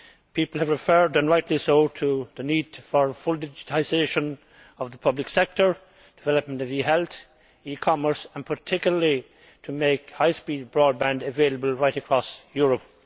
People have referred, and rightly so, to the need for full digitalisation of the public sector, development of e health, e commerce and particularly to making high speed broadband available right across Europe.